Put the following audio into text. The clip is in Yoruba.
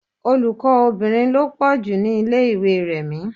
Olùkọ́ obìnrin lọ pọ́ ju ni ilé ìwé Rẹ̀mí.